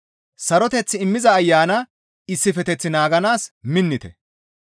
Saroteth immiza Ayana issifeteth naaganaas minnite.